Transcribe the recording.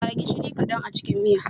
Ƙara gishiri kadan a cikin miya.